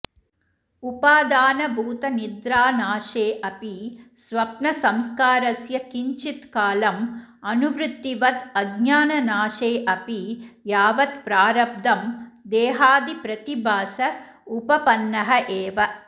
उपादानभूतनिद्रानाशे अपि स्वप्नसंस्कारस्य किञ्चित् कालं अनुवृत्तिवद् अज्ञाननाशे अपि यावत् प्रारब्धं देहादिप्रतिभास उपपन्नः एव